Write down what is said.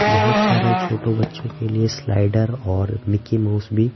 बहुत सारे छोटो बच्चों के लिए स्लाइडर और मिकी माउस भी --